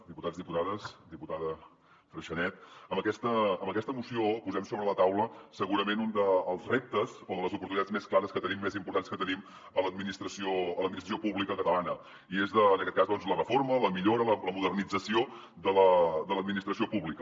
diputats diputades diputada freixanet amb aquesta moció posem sobre la taula segurament un dels reptes o de les oportunitats més clares que tenim més importants que tenim a l’administració pública catalana i és en aquest cas doncs la reforma la millora la modernització de l’administració pública